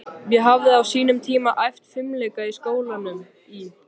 Ég hafði á sínum tíma æft fimleika í skólanum í